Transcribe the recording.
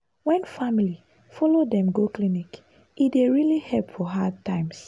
wen family follow dem go clinic e dey really help for hard times.